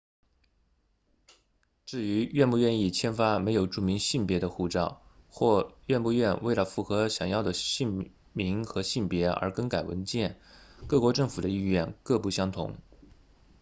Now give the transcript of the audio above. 至于愿不愿意签发没有注明性别 x 的护照或愿不愿为了符合想要的姓名和性别而更改文件各国政府的意愿各不相同